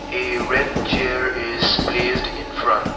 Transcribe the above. a red chair is placed in front.